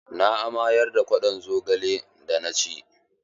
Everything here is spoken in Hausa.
Na amayar da kwaɗon zogalen da na ci.